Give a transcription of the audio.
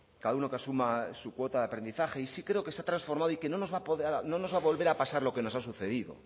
cada uno que asuma su cuota de aprendizaje y sí creo que se ha transformado y que no nos va volver a pasar lo que nos ha sucedido